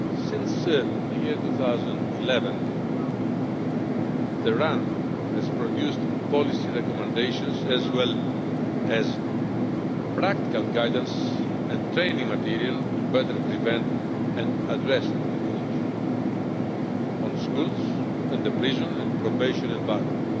Since the year 2011, the RAN has produced policy recommendations as well as practical guidance and training material to better prevent and address radicalisation, on schools and the prison and probation environment,